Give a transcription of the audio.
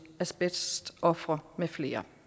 asbestofre med flere